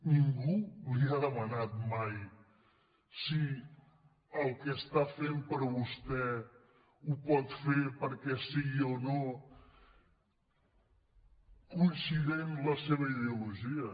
ningú li ha demanat mai si el que està fent per a vostè ho pot fer perquè sigui o no coincident amb la seva ideologia